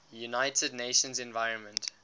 united nations environment